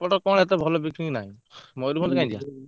ଗୋଟେ କଣ ଏତେ ଭଲ picnic ନାହିଁ ମୟୂରଭଞ୍ଜ କାହିଁକି ଯିବା।